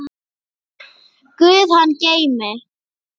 Guð hann geymi.